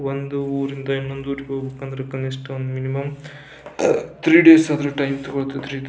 ಒಂದು ಊರಿಂದ ಇನ್ನೊಂದು ಊರಿಗೆ ಹೋಗ್ಬೇಕು ಅಂದ್ರ ಕನಿಷ್ಠ ಮಿನಿಮಂ ಥ್ರೀ ಡೇಸ್ ಆದ್ರೂ ಟೈಮ್ ತೊಗಲತೇತ್ರಿ ಇದು.